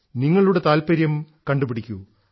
നിങ്ങളുടെ താത്പര്യം കണ്ടുപിടിക്കൂ